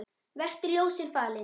Vertu ljósinu falinn.